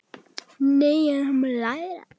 Nei, en hann mun læra.